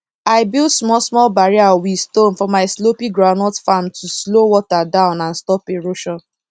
i build small small barrier with stone for my slopy groundnut farm to slow water down and stop erosion